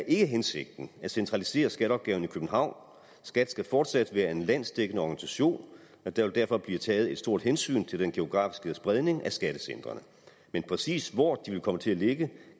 ikke er hensigten at centralisere skatteopgaverne i københavn skat skal fortsat være en landsdækkende organisation og der vil derfor blive taget et stort hensyn til den geografiske spredning af skattecentrene men præcis hvor de vil komme til at ligge